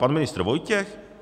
Pan ministr Vojtěch?